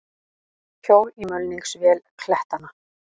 Hjól í mulningsvél klettanna.